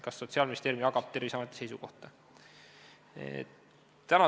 Kas Sotsiaalministeerium jagab Terviseameti seisukohta?